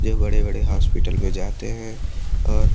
यह बड़े बड़े हॉस्पिटल में जाते हैं और--